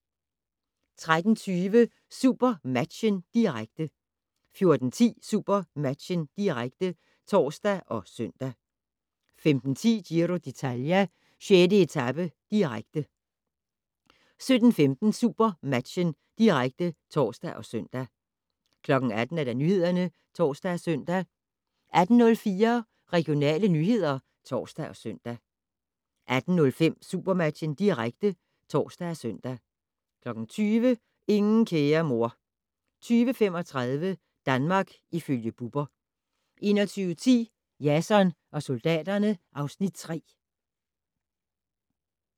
13:20: SuperMatchen, direkte 14:10: SuperMatchen, direkte (tor og søn) 15:10: Giro d'Italia: 6. etape, direkte 17:15: SuperMatchen, direkte (tor og søn) 18:00: Nyhederne (tor og søn) 18:04: Regionale nyheder (tor og søn) 18:05: SuperMatchen, direkte (tor og søn) 20:00: Ingen kære mor 20:35: Danmark ifølge Bubber 21:10: Jason og soldaterne (Afs. 3)